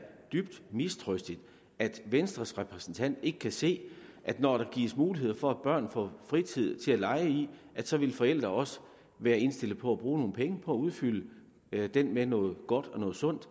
dybt mistrøstigt at venstres repræsentant ikke kan se at når der gives mulighed for at børn får fritid til at lege i så vil forældrene også være indstillet på at bruge nogle penge på at udfylde den med noget godt og noget sundt